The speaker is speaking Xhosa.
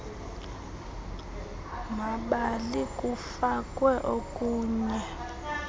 mabali kufakwe okunye